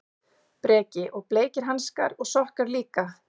Breki: Og bleikir hanskar og sokkar líka?